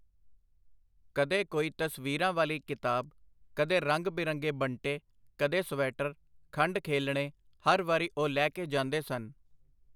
ਕਦੇ ਕੋਈ ਤਸਵੀਰਾਂ ਵਾਲੀ ਕਿਤਾਬ, ਕਦੇ ਰੰਗ-ਬਿਰੰਗੇ ਬੰਟੇ, ਕਦੇ ਸਵੈਟਰ, ਖੰਡ ਖੇਲਣੇ ਹਰ ਵਾਰੀ ਉਹ ਲੈ ਕੇ ਜਾਂਦੇ ਸਨ.